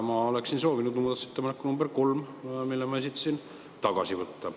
Ma oleksin soovinud muudatusettepaneku nr 3, mille ma esitasin, tagasi võtta.